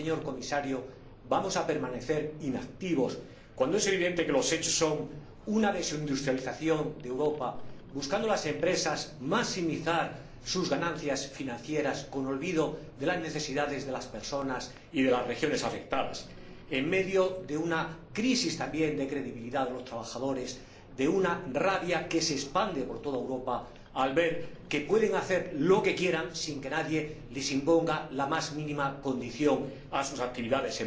cuándo, señor Comisario, vamos a permanecer inactivos cuando es evidente que los hechos son una desindustrialización de Europa, cuando las empresas buscan maximizar sus ganancias financieras olvidándose de las necesidades de las personas y de las regiones afectadas, en medio, también, de una crisis de credibilidad entre los trabajadores, de una rabia que se expande por toda Europa al ver que esas empresas pueden hacer lo que quieran sin que nadie imponga la más mínima condición a sus actividades?